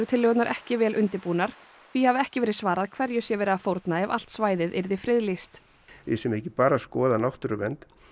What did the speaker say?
tillögurnar ekki vel undirbúnar því hafi ekki verið svarað hverju sé verið að fórna ef allt svæðið yrði friðlýst við séum ekki bara að skoða náttúruvernd